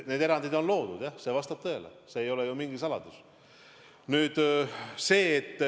Need erandid on loodud, jah, see vastab tõele, see ei ole ju mingi saladus.